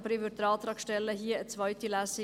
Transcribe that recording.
Trotzdem stelle ich Antrag auf eine zweite Lesung.